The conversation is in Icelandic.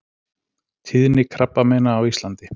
TÍÐNI KRABBAMEINA Á ÍSLANDI